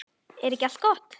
Er ekki allt gott?